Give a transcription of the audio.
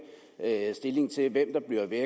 stilling til hvem der bliver væk